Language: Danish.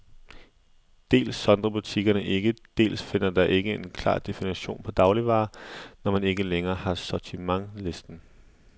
Dels sondrer butikkerne ikke, dels findes der ikke en klar definition på dagligvarer, når man ikke længere har sortimentslisten.